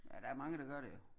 Men der mange der gør det jo